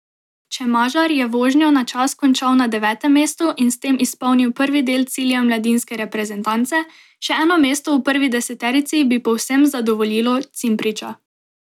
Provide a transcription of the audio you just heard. Čemažar je vožnjo na čas končal na devetem mestu in s tem izpolnil prvi del cilja mladinske reprezentance, še eno mesto v prvi deseterici bi povsem zadovoljilo Cimpriča.